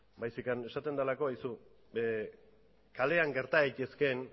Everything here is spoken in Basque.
baizik eta esaten delako kalean gerta daitezkeen